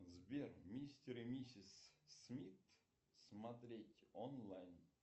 сбер мистер и миссис смит смотреть онлайн